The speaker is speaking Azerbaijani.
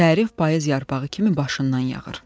Tərif payız yarpağı kimi başından yağır.